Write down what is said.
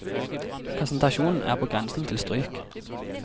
Presentasjonen er på grensen til stryk.